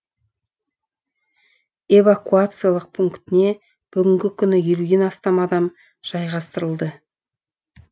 эвакуациялық пунктіне бүгінгі күні елуден астам адам жайғастырылды